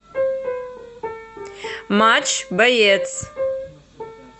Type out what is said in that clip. матч боец